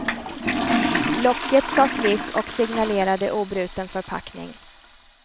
Locket sa klick och signalerade obruten förpackning.